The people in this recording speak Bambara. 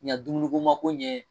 Yan dumuni ko mako ɲɛ